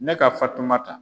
Ne ka Fatumata.